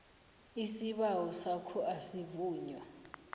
isibawo sakho asivunywa